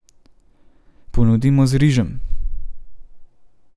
Ponudimo z rižem.